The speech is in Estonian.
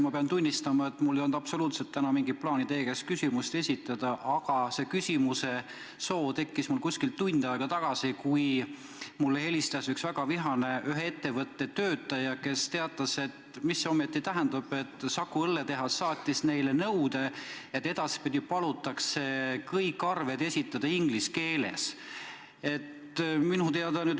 Ma pean tunnistama, et mul ei olnud täna mingit plaani teile küsimust esitada, aga see soov tekkis mul umbes tund aega tagasi, kui mulle helistas väga vihane ühe ettevõtte töötaja, kes teatas, et Saku Õlletehas saatis neile nõude, et edaspidi palutakse kõik arved esitada inglise keeles, ja küsis, mida see ometi tähendab.